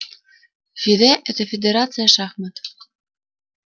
фиде это фидерация шахмат